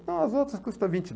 Ah, as outras custam vinte